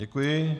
Děkuji.